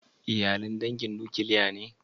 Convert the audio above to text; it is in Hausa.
Iyalin dangin nukiliya ne?